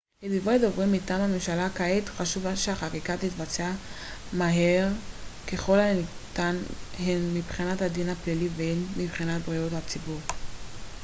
לדברי דובר מטעם הממשלה כעת חשוב שהחקיקה תתבצע מהר ככל הניתן הן מבחינת הדין הפלילי והן מבחינת בריאות הציבור